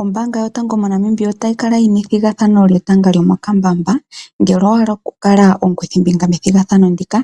Ombaanga yotango moNamibia otayi kala yi na ethigathano lyetanga lyomokambamba. Ngele owa hala oku kala omukuthimbinga methigathano ndika,